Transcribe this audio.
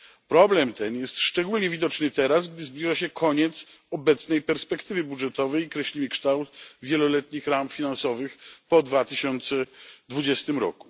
Problem ten jest szczególnie widoczny teraz, gdy zbliża się koniec obecnej perspektywy budżetowej i kreślimy kształt wieloletnich ram finansowych po 2020 r.